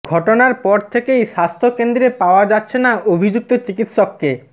ঘটনার পর থেকেই স্বাস্থ্য়কেন্দ্রে পাওয়া যাচ্ছে না অভিযুক্ত চিকিৎসককে